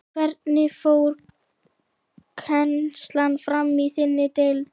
Hvernig fór kennslan fram í þinni deild?